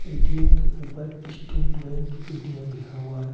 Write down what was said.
ATM के ऊपर state bank ATM लिखा हुआ है।